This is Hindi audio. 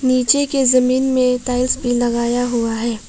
नीचे के जमीन में टाइल्स भी लगाया हुआ है।